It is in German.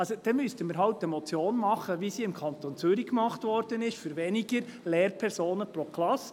Dann müssten wir halt eine Motion machen, wie sie im Kanton Zürich gemacht wurde, für weniger Lehrpersonen pro Klasse.